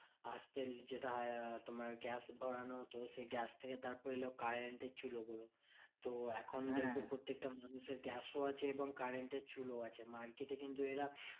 আসতে যেটা হয় তোমার গ্যাস ভরানো হতো সেই গ্যাস থেকে তারপর এলো current এর চুলো গুলো তো এখন দেখবে প্রত্যেকটা মানুষের গ্যাসও আছে এবং current এর চুলোও আছে। market এ কিন্তু এরা